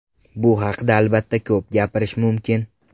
Bu haqda albatta ko‘p gapirish mumkin.